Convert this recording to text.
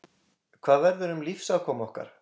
Hvað verður um lífsafkomu okkar?